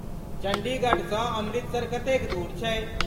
चण्डीगढ़सँ अमृतसर कतेक दूर छै?